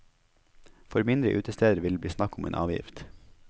For mindre utesteder vil det bli snakk om en avgift.